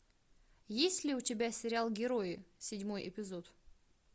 есть ли у тебя сериал герои седьмой эпизод